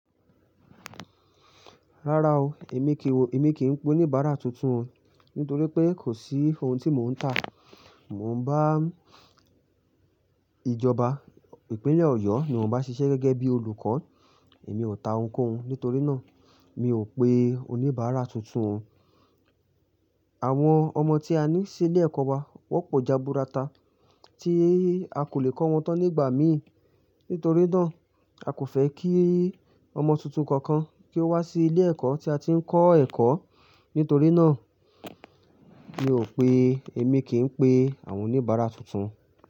Rárá o, èmi kí, èmi kì í pe oníbàárà tuntun, nítorí pé kò sí ohun tí mò ń tà. Mò ń bá ìjọba ìpínlẹ̀ Ọ̀yọ́ ni mò ń bá ṣiṣẹ́ gẹ́gẹ́ bí olùkọ́, èmi ò ta ohunkóhun, nítorí náà mi ò pé oníbàárà tuntun. Àwọn ọmọ tí a ní sí ilé ẹ̀kọ́ wa, wọ́n pọ̀ jaburata tí a kò lè kọ́ wọn tán nígbà míì, nítorí náà a kò fẹ́ kí ọmọ tuntun kankan kí ó wá sí ilé ẹ̀kọ́ tí a ti ń kọ́ ẹ̀kọ́, nítorí náà mi ò pé èmi kì í pe àwọn oníbàárà tuntun.